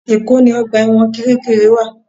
Èkó ni ọgbà ẹ̀wọ̀n Kiríkirì wà